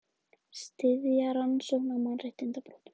Styðja rannsókn á mannréttindabrotum